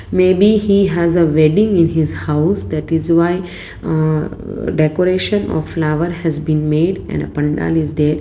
may be he has a wedding in his house that is why uh decoration of flower has been made and a pandal is there.